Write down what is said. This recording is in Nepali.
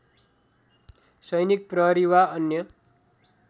सैनिक प्रहरी वा अन्य